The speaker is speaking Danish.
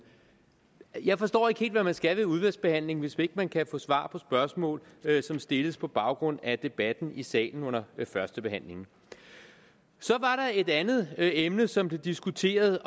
jeg forstår ikke helt hvad man skal med udvalgsbehandlingen hvis ikke man kan få svar på spørgsmål som stilles på baggrund af debatten i salen under førstebehandlingen så var der et andet emne som blev diskuteret